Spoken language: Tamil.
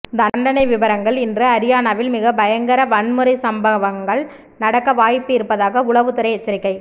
தண்டனை விபரங்கள் இன்று அரியானாவில் மிகப் பயங்கர வன்முறை சம்பவங்கள் நடக்க வாய்ப்பு இருப்பதாக உளவுத்துறை எச்சரிக்கை